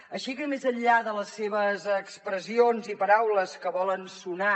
així que més enllà de les seves expressions i paraules que volen sonar